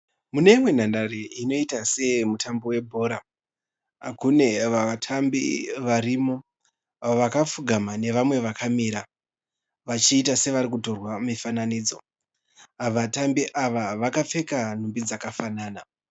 Muneimwe nhandare inoita seyemutambo webhora. Mune vatambi vakamira, vamwe vakapfugama. Vanoita sevarikutorwa mifananidzo. Vatambi ava vakapfeka hembe dzakafanana.